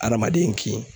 Adamaden kin